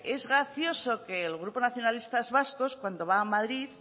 es gracioso que el grupo nacionalistas vascos cuando va a madrid